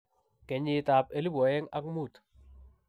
kenyitab 2005.